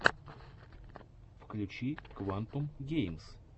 включи квантум геймс